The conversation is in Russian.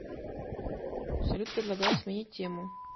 салют предлагаю сменить тему